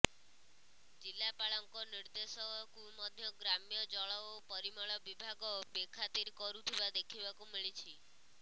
ଜିଲାପାଳ ଙ୍କ ନିଦେ୍ର୍ଦଶ କୁ ମଧ୍ୟ ଗ୍ରାମ୍ୟ ଜଳ ଓ ପରମଳ ବିଭାଗ ବେଖାତିର କରୁଥିବା ଦେଖିବାକୁ ମିଲିଛି